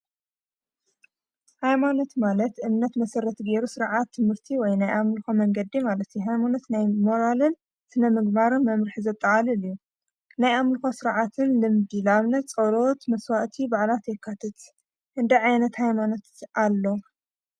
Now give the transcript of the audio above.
ሃይማኖት ማለት እምነት መሠረት ገይሩ ስርዓት ትምህርቲ ወይ ናይ ኣምልኾ መንገዲ ማለት ሃይሞኖት ናይ ሞራልን ስነ ምግባር መምርሒ ዘጠቓልል እዩ፡፡ ናይ ኣምልኮ ስርዓትን ልምዲ ላኣብነት ፀሎት፣ መስዋእቲ ፣ባዓላት የካተት፡፡ ክንደይ ዓይነት ሃይማኖት ኣሎ?